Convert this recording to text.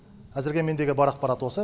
әзірге мендегі бар ақпарат осы